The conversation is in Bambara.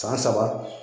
San saba